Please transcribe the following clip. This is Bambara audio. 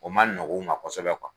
O ma nɔgɔ u ma kosɛbɛ